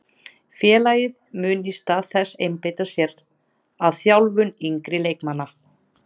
Félagið mun í stað þess einbeita sér að þjálfun yngri leikmanna.